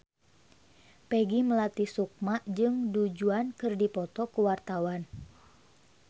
Peggy Melati Sukma jeung Du Juan keur dipoto ku wartawan